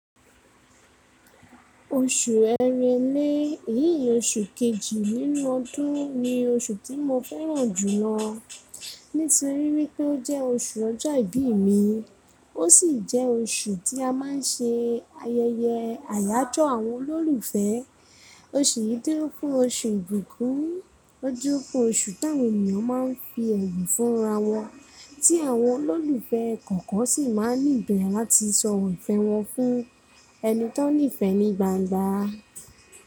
Oṣù ẹrẹlẹ, èyí ni oṣù kejì nínú ọdún ni oṣù tí mo fẹ́ràn jùlọ nítorí wípẹ́ ó jẹ́ oṣù ọjọ́ ìbí mi, ó sì jẹ́ oṣù tí a má ń ṣe ayẹyẹ àyájọ́ àwọn olólùfẹ́. Oṣù yìí dún fún oṣù ìbùkún, ó jọ fún oṣù táwọn ènìyàn má ń fi ẹ̀bùn fún ara wọn tí àwọn olólùfẹ́ kọ̀ọ̀kan sì má ń nìbẹ̀ láti sọ ìfẹ́ wọn fún ẹni tí wọ́n nífẹ̀ẹ́ ní gbangba.